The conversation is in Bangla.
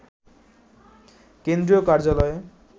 কেন্দ্রীয় কার্যালয়ে